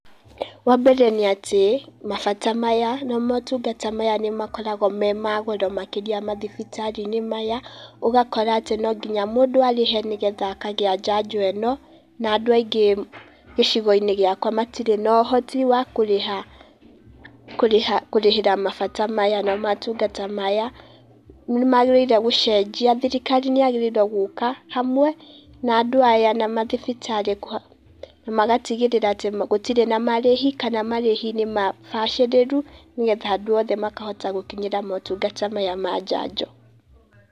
Wa mbere nĩ atĩ mabata maya na motungata maya nĩ makoragwo me ma goro mathibitarĩ-inĩ maya. Ũgakora atĩ no nginya mũndũ arĩhe nĩgetha akagĩa njanjo ĩno na andũ aingĩ gĩcigo-inĩ gĩakwa matirĩ na ũhoti wa kũrĩha, kũrĩhĩra mabata maya na motungata maya. Nĩ magĩrĩire gũcenjia thirikari nĩ yagĩrĩire gũka hamwe na andũ aya na mathibitarĩ magatigĩrĩra atĩ gũtirĩ na marĩhi kana marĩhi nĩ mabacĩrĩru nĩgetha andũ othe makahota gũkinyĩra motungata maya ma njanjo.